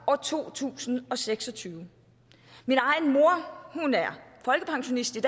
år to tusind og seks og tyve min egen mor er folkepensionist i